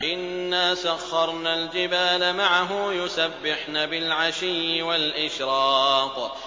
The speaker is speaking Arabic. إِنَّا سَخَّرْنَا الْجِبَالَ مَعَهُ يُسَبِّحْنَ بِالْعَشِيِّ وَالْإِشْرَاقِ